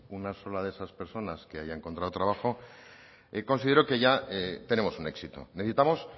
una sola de esas personas que haya encontrado trabajo considero que ya tenemos un éxito necesitamos